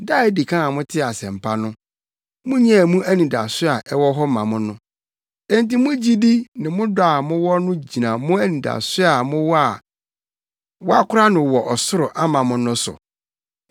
Da a edi kan a motee Asɛmpa no munyaa mu anidaso a ɛwɔ hɔ ma mo no. Enti mo gyidi ne mo dɔ a mowɔ no gyina mo anidaso a mowɔ a wɔakora no wɔ ɔsoro ama mo no so.